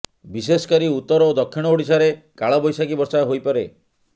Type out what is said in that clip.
ବିଶେଷ କରି ଉତ୍ତର ଓ ଦକ୍ଷିଣ ଓଡିଶାରେ କାଳବୈଶାଖୀ ବର୍ଷା ହୋଇପାରେ